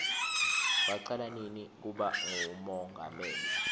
wacala nini kuba ngumongameli